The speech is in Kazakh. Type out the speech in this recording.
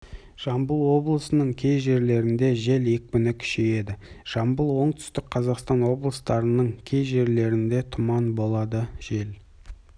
жамбыл облысының кей жерлерінде жел екпіні күшейеді жамбыл оңтүстік қазақстан облыстарының кей жерлерінде тұман болады жел